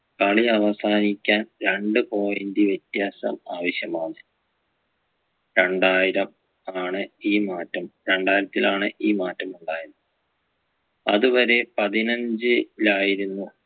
കളി അവസാനിക്കാൻ രണ്ട് point വ്യത്യാസം ആവശ്യമാണ് രണ്ടായിരം ആണ് ഈ മാറ്റം രണ്ടായിരത്തിലാണ് ഈ മാറ്റം ഉണ്ടായത് അത് വരെ പതിനഞ്ചിലായിരുന്നു